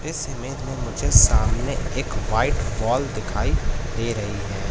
इस इमेज में मुझे सामने एक व्हाईट बॉल दिखाई दे रही है।